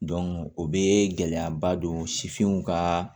o bɛ gɛlɛyaba don sifinnaw ka